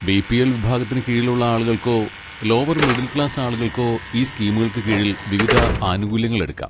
BPL. വിഭാഗത്തിന് കീഴിലുള്ള ആളുകൾക്കോ ലോവർ മിഡിൽ ക്ലാസ് ആളുകൾക്കോ ഈ സ്കീമുകൾക്ക് കീഴിൽ വിവിധ ആനുകൂല്യങ്ങൾ എടുക്കാം.